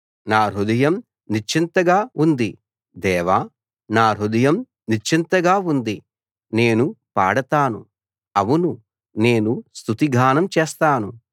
నా హృదయం నిశ్చింతగా ఉంది దేవా నా హృదయం నిశ్చింతగా ఉంది నేను పాడతాను అవును నేను స్తుతిగానం చేస్తాను